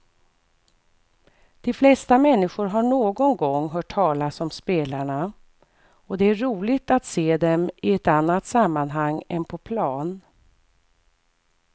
De flesta människor har någon gång hört talas om spelarna och det är roligt att se dem i ett annat sammanhang än på plan.